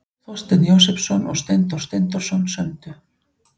Þorsteinn Jósepsson og Steindór Steindórsson sömdu.